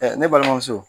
ne balimamuso